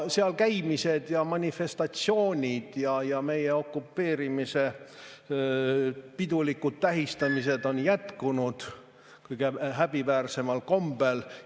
Seal käimised ja manifestatsioonid ja meie okupeerimise pidulikud tähistamised on jätkunud kõige häbiväärsemal kombel.